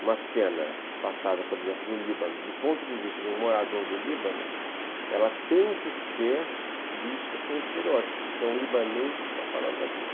uma cena passada, por exemplo, no Líbano, do ponto de vista de um morador do Líbano, ela tem que ser vista sem estereótipos, porque é um libanês que está falando daquilo.